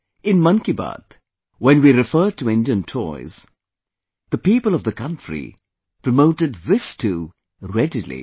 In 'Mann Ki Baat', when we referred to Indian toys, the people of the country promoted this too, readily